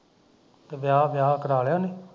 ਤੇ ਵਿਆਹ ਵਿਆਹ ਕਰਾ ਲਿਆ ਉਹਨੇ